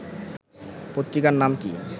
পত্রিকার নাম কি